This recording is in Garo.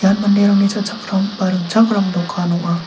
ian manderangni cha·chakram ba ringchakram dokan ong·a.